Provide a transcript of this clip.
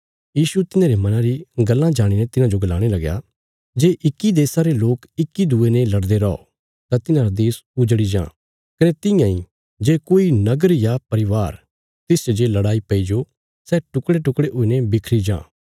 यीशु तिन्हांरे मना री गल्लां जाणीने तिन्हांजो गलाणे लगया जे इक्की देशा रे लोक इक्की दूये ने लड़दे रौ तां तिन्हांरा देश उजड़ी जां कने तियां इ जे कोई नगर या परिवार तिसच जे लड़ाई पैईजो सै टुकड़ेटुकड़े हुईने बिखरी जां